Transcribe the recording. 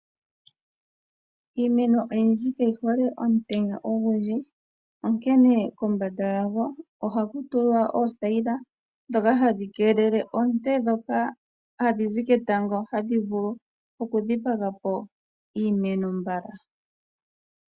Iimeno oyindji kayi hole omutenya ogundji onkene kombanda yawo oha ku tulwa oothayila ndhoka hadhi keelele oonte ndhoka hadhi zi ketango hadhi vulu okudhipagapo iimeno mbala.